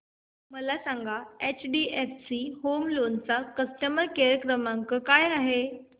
मला सांगा HDFC home loan चा कस्टमर केअर क्रमांक काय आहे